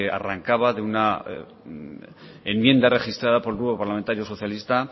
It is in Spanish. arrancaba de una enmienda registrada por el grupo parlamentario socialista